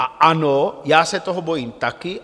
A ano, já se toho bojím taky.